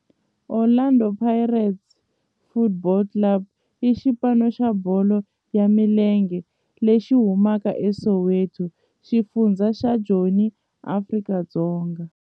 Orlando Pirates Football Club i xipano xa bolo ya milenge lexi humaka eSoweto, xifundzha xa Joni, Afrika-Dzonga.